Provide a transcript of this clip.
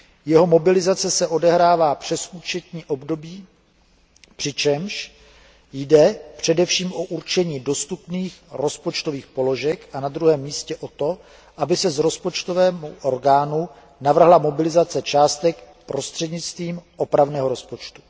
Jeho mobilizace se odehrává přes účetní období, přičemž jde především o určení dostupných rozpočtových položek a na druhém místě o to, aby se rozpočtovému orgánu navrhla mobilizace částek prostřednictvím opravného rozpočtu.